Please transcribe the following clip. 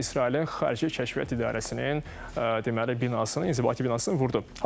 Yəni İsraili Xarici Kəşfiyyat İdarəsinin deməli binasını, inzibati binasını vurdu.